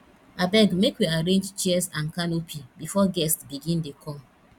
abeg make we arrange chairs and canopy before guests begin dey come